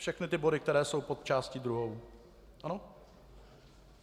Všechny ty body, které jsou pod částí druhou.